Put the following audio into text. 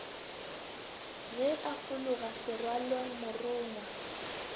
ge a fologa serwaolong morongwa